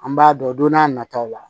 An b'a dɔn don n'a nataw la